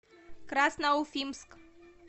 красноуфимск